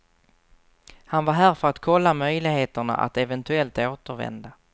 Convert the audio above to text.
Han var här för att kolla möjligheterna att eventuellt återvända.